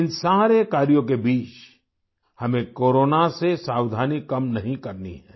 इन सारे कार्यों के बीच हमें कोरोना से सावधानी कम नहीं करनी है